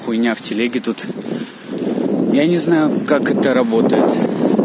хуйня в телеге тут я не знаю как это работает